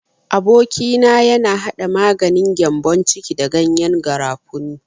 Aboki na yana hada maganin gyambon ciki da gyanyen garafuni.